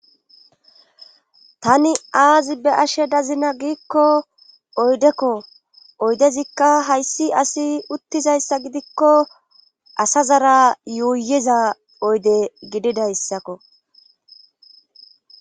Tani aazi be ashe dazina giikko oydekko oydezikka hayssi asi uttizayssa gidikko asa zara yuuyiza oyde gididayssakko